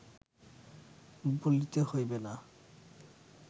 বলিতে হইবে না